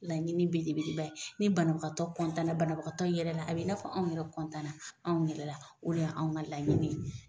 Laɲini belebeleba ye, ni banabagatɔ na banabagatɔ in yɛrɛla a bɛ i n'a fɔ anw yɛrɛ na anw yɛrɛ la. O de ya anw ŋa laɲini ye.